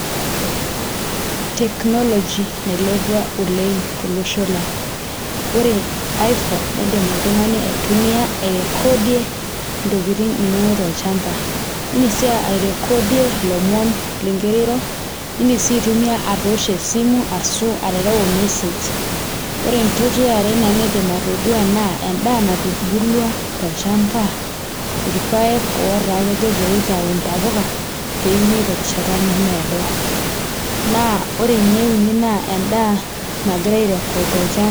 Technology nailepua oleng' tolosho lang' ore Iphone niidim oltung'ani aitumia airecordie ntokitin inonok tolchamba iindim sii airecordie ilomon ingirara airo iindim sii aitumia atoosho esimu ashu aterewa ormesej ore entoki e are naidim atodua Nanu naa endaa natubulua tolchamba, irpaek otaa kejo pee itau intapuka pee enyai terrishata nemeedo naa ore ene uni naa endaa nagirai airecord tolchamba.